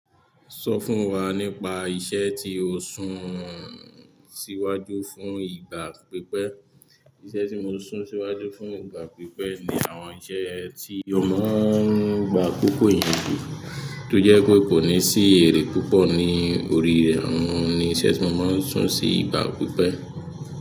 Sọ fún wa nípa iṣẹ́ tí o ń sún síwájú fún ìgbà pípẹ́. Iṣẹ́ tí mo ń sún síwájú fún ìgbà pípẹ́ ni àwọn iṣẹ́ tí o ń gba akoko eeyan jù, tó jẹ́ pé kò ní sí èrè púpọ̀ ní orí rẹ̀, àwọn ni iṣẹ́ tí mo máa ń sún sí ìgbà pípẹ́.